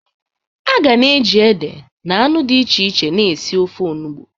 A ga na-eji ede na anu di iche iche na esi ofe enugbe.